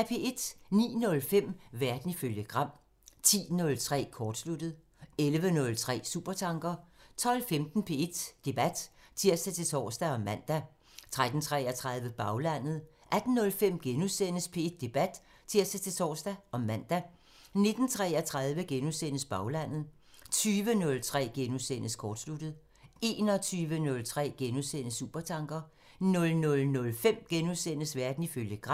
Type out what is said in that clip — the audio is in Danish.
09:05: Verden ifølge Gram 10:03: Kortsluttet 11:03: Supertanker 12:15: P1 Debat (tir-tor og man) 13:33: Baglandet 18:05: P1 Debat *(tir-tor og man) 19:33: Baglandet * 20:03: Kortsluttet * 21:03: Supertanker * 00:05: Verden ifølge Gram *